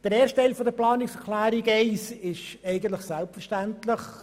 Der erste Teil der Planungserklärung 1 ist eigentlich selbstverständlich.